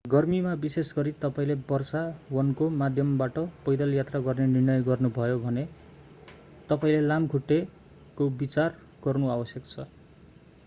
गर्मीमा विशेष गरी तपाईंले वर्षा वनको माध्यमबाट पैदल यात्रा गर्ने निर्णय गर्नुभयो भने तपाईंले लामखुट्टेको विचार गर्नु आवश्यक छ